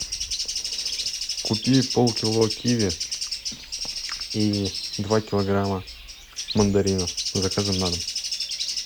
купи полкило киви и два килограмма мандаринов с заказом на дом